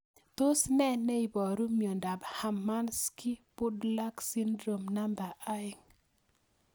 Tos nee neiparu miondop Hermansky Pudlak syndrome 2